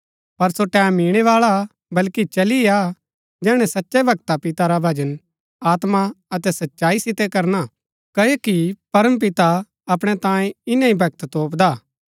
पर सो टैमं ईणैबाळा हा वल्कि चली ही आ जैहणै सचै भक्ता पिता रा भजन आत्मा अतै सच्चाई सितै करना हा क्ओकि परम पिता अपणै तांयें इन्‍नै ही भक्त तोपदा हा